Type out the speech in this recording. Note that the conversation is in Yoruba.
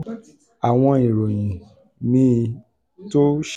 àwọn ìròyìn míì tó ṣe